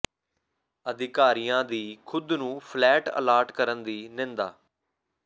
ਅਧਿਕਾਰੀਆਂ ਦੀ ਖੁਦ ਨੂੰ ਫਲੈਟ ਅਲਾਟ ਕਰਨ ਦੀ ਨਿੰਦਾ